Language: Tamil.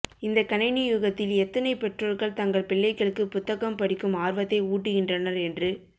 இந்த கணினி யுகத்தில் எத்தனை பெற்றொர்கள் தங்கள் பிள்ளைகளுக்கு புத்தகம் படிக்கும் ஆர்வத்தை ஊட்டுகின்றனர் என்று